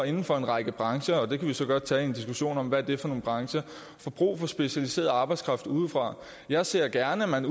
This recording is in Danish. inden for en række brancher vi kan så godt tage en diskussion om hvad det er for nogle brancher får brug for specialiseret arbejdskraft udefra jeg ser gerne at man